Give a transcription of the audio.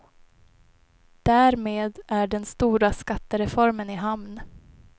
Därmed är den stora skattereformen i hamn.